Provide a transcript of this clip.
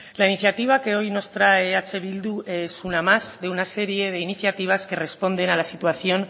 la iniciativa que hoy nos trae eh bildu es una más de una serie de iniciativas que responden a la situación